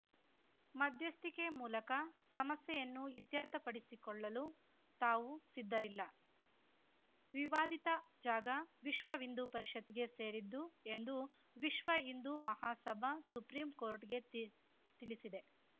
ಮಧ್ಯಸ್ಥಿಕೆ ಮೂಲಕ ಸಮಸ್ಯೆಯನ್ನು ಇತ್ಯರ್ಥಪಡಿಸಿಕೊಳ್ಳಲು ತಾವು ಸಿದ್ಧರಿಲ್ಲ ವಿವಾದಿತ ಜಾಗ ವಿಶ್ವಹಿಂದೂಪರಿಷತ್‌ಗೆ ಸೇರಿದ್ದು ಎಂದು ವಿಶ್ವಹಿಂದೂ ಮಹಾಸಭಾ ಸುಪ್ರೀಂ ಕೋರ್ಟ್‌ಗೆ ತಿ ತಿಳಿಸಿದೆ